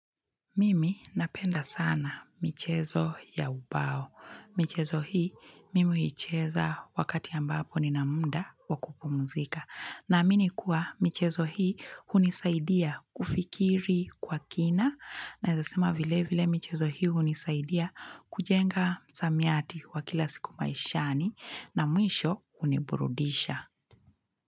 Mimi napenda sana michezo ya ubao. Michezo hii, mimi uicheza wakati ambapo ni nina mda wakupu mzika. Na amini kuwa michezo hii unisaidia kufikiri kwa kina. Naeza sema vile vile michezo hii unisaidia kujenga samiyati wakila siku maishani na mwisho uniburudisha.